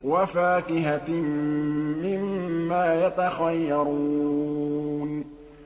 وَفَاكِهَةٍ مِّمَّا يَتَخَيَّرُونَ